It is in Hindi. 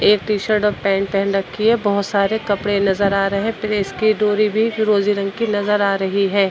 एक टी-शर्ट और पैंट पहन रखी है बहुत सारे कपड़े नजर आ रहे हैं। प्रेस की डोरी भी फिरोजी रंग की नजर आ रही है।